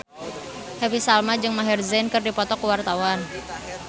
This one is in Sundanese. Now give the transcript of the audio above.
Happy Salma jeung Maher Zein keur dipoto ku wartawan